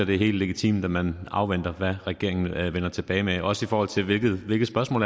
det er helt legitimt at man afventer hvad regeringen vender tilbage med også i forhold til hvilket spørgsmål